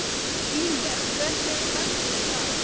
Ínes, hvernig er veðrið í dag?